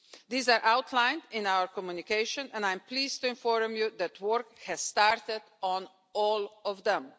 These are outlined in our communication and I am pleased to inform you that work has started on all of them.